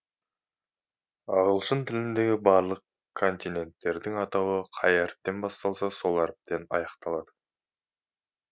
ағылшын тіліндегі барлық континенттердің атауы қай әріптен басталса сол әріптен аяқталады